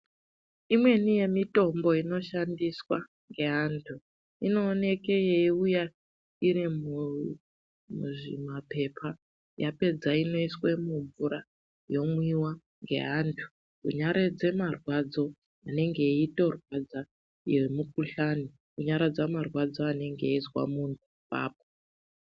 Imweni yemitombo inoshandiswa ngeantu inoonekwe yeiuya iri muzvimapepa yapedza inoiswe mumvura yomwiwa neantu kunyaradze marwadzo anenge eitorwadza iyo mikuhlani kunyaradza marwadzo anenge eizwe muntu apapo.